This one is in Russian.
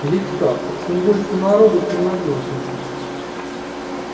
ведь как чем больше народу тем надёжнее